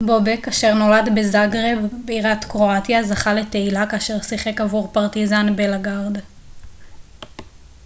בובק אשר נולד בזגרב בירת קרואטיה זכה לתהילה כאשר שיחק עבור פרטיזן בלגרד